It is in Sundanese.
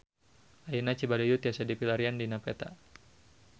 Ayeuna Cibaduyut tiasa dipilarian dina peta